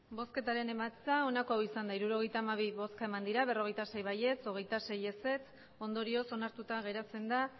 emandako botoak hirurogeita hamabi bai berrogeita sei ez hogeita sei ondorioz onartuta geratzen da